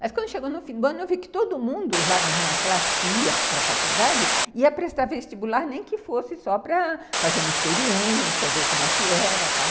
Mas quando chegou no fim do ano, eu vi que todo mundo lá na minha classe que ia para a faculdade ia prestar vestibular, nem que fosse só para fazer uma experiência, ver como é que era e tal.